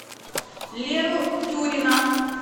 леру тюрина